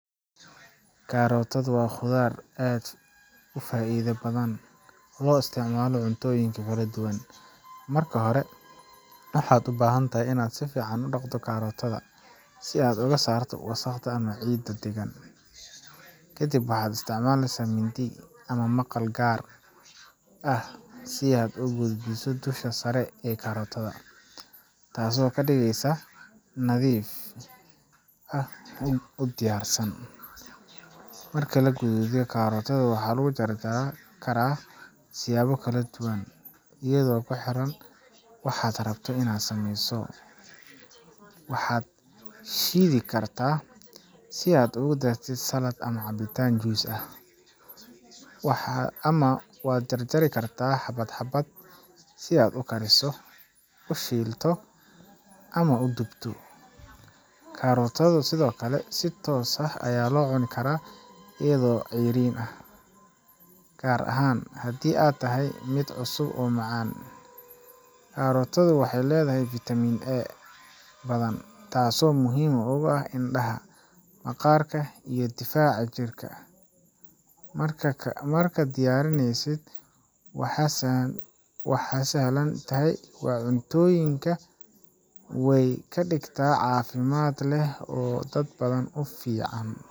Karootadu waa khudrad aad u faa’iido badan loo isticmaalo cuntooyin kala duwan. Marka hore, waxaad u baahan tahay inaad si fiican u dhaqdo karootada si aad uga saarto wasakhda ama ciidda ku dheggan. Kadib, waxaad isticmaashaa mindi ama maqal gaar ah si aad uga gaduuddo dusha sare ee karootada, taasoo ka dhigeysa nadiif ah oo diyaarsan. Marka la gaduudo, karootada waxaa lagu jarjari karaa siyaabo kala duwan iyadoo ku xiran waxaad rabto inaad sameyso waad shiidi kartaa si aad ugu dartid salad ama cabitaan juice ah, ama waad jarjari kartaa xabad xabad si aad u kariso, u shiilto, ama u dubto. Karootadu sidoo kale si toos ah ayaa loo cuni karaa iyadoo ceeriin ah, gaar ahaan haddii ay tahay mid cusub oo macaan. Karootada waxay leedahay fitamiin A badan, taasoo aad muhiim ugu ah indhaha, maqaarka, iyo difaaca jirka. Marka, diyaarinteeda waa sahlan tahay, cuntooyinkana way ka dhigtaa mid caafimaad leh oo dad badan u fiican.